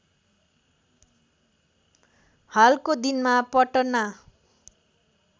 हालको दिनमा पटना